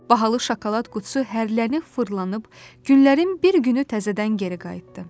Bahalı şokolad qutusu hərlənib, fırlanıb, günlərin bir günü təzədən geri qayıtdı.